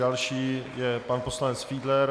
Další je pan poslanec Fiedler.